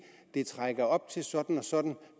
det trækker op til sådan og sådan